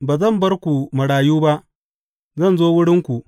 Ba zan bar ku marayu ba; zan zo wurinku.